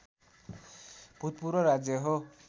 भूतपूर्व राज्य हो